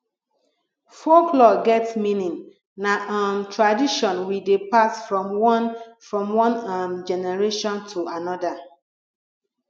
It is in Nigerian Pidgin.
folklore get meaning na um tradition we dey pass from one from one um generation to another